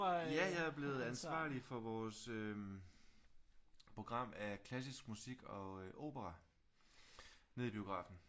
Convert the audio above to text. Ja jeg er blevet ansvarlig for vores program af klassisk musik og opera nede i biografen